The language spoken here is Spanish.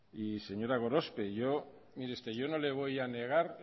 y señora gorospe yo no le voy a negar